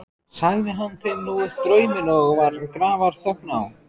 Sagði hann þeim nú upp drauminn og var grafarþögn á.